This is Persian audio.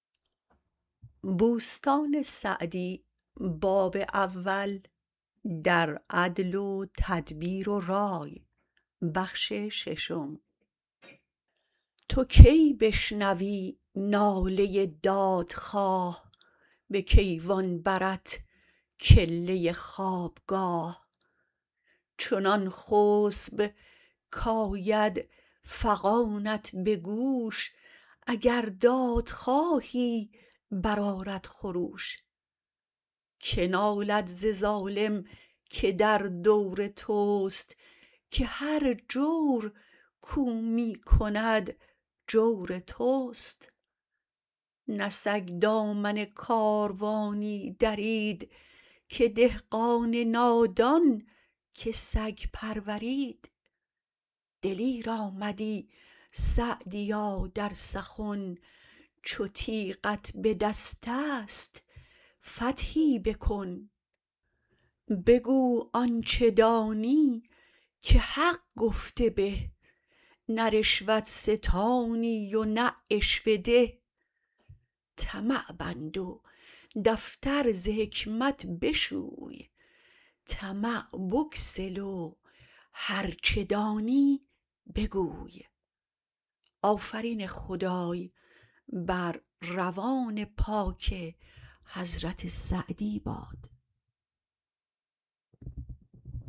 تو کی بشنوی ناله دادخواه به کیوان برت کله خوابگاه چنان خسب کآید فغانت به گوش اگر دادخواهی برآرد خروش که نالد ز ظالم که در دور توست که هر جور کاو می کند جور توست نه سگ دامن کاروانی درید که دهقان نادان که سگ پرورید دلیر آمدی سعدیا در سخن چو تیغت به دست است فتحی بکن بگو آنچه دانی که حق گفته به نه رشوت ستانی و نه عشوه ده طمع بند و دفتر ز حکمت بشوی طمع بگسل و هرچه دانی بگوی